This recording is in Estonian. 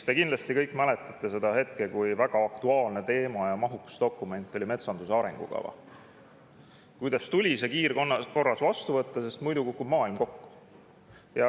Te kindlasti kõik mäletate seda, kui aktuaalne teema ja kui mahukas dokument oli metsanduse arengukava ning kuidas see tuli kiirkorras vastu võtta, sest muidu kukub maailm kokku.